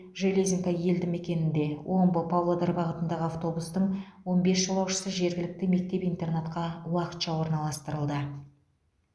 железинка елді мекенінде омбы павлодар бағытындағы автобустың он бес жолаушысы жергілікті мектеп интернатқа уақытша орналастырылды